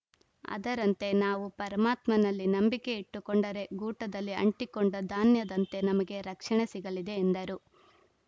ಅದರಂತೆ ನಾವು ಪರಮಾತ್ಮನಲ್ಲಿ ನಂಬಿಕೆ ಇಟ್ಟುಕೊಂಡರೆ ಗೂಟದಲ್ಲಿ ಅಂಟಿಕೊಂಡ ಧಾನ್ಯದಂತೆ ನಮಗೆ ರಕ್ಷಣೆ ಸಿಗಲಿದೆ ಎಂದರು